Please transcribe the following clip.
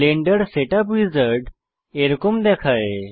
Blender setup wizard এইরকম দেখায়